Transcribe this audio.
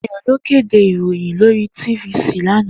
Dayo ló kédé iróyìn lóri tífisí ni òsàán àná